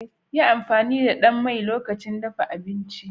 Yi amfani da ɗan mai lokacin dafa abinci